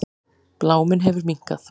Bláminn hefur minnkað.